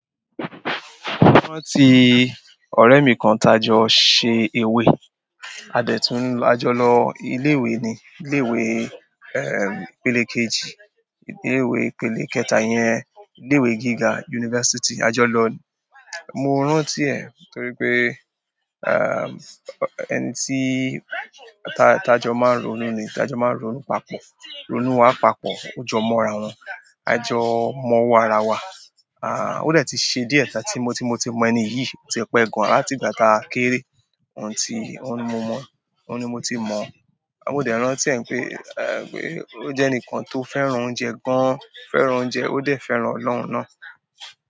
Mo rántí ọ̀rẹ́ mi kan tajọ ṣe ewé adẹ̀tún á jọ lọ ilé ìwé ni. Ilé ìwé, ẹ, ipélé kejì, ilé ìwé ipélé kẹta yẹn, ilé ìwé gíga yunifásítì ajọ lọ ni. Mo rántí ẹ̀ torí pé, ẹ, ẹni tí tá-tajọ máa ń ronú ni, tajọ máa ń ronú papọ̀. Ronú wa papọ̀, ọjọ mọ́ ara wọn, ajọ mọ wọ́ ara wa. Aà, ó dẹ̀ ti ṣe díẹ̀ tà tí mo tí mo ti mọ ẹni yìí, o ti pẹ gan láti ìgbà tá a kéré. Òun ti, òun ni mo mọ̀, òun ni mo ti mọ̀. A ó dẹ̀ rántí ẹ̀ pé, ẹ, pé ó jẹ́ ẹnìkan tó fẹ́ràn oúnjẹ gan, fẹ́ràn oúnjẹ, ó dẹ̀ fẹ́ràn ọlọ́hun náà.